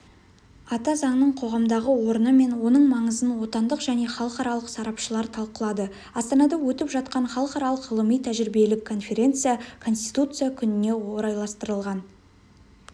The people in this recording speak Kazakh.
ата заңның қоғамдағы орны мен оның маңызын отандық және халықаралық сарапшылар талқылады астанада өтіп жатқан халықаралық ғылыми-тәжірибелік конференция конституция күніне орайластырылған